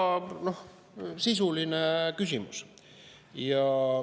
Väga sisuline küsimus.